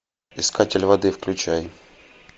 искатель воды включай